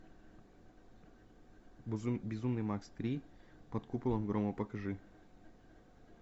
безумный макс три под куполом грома покажи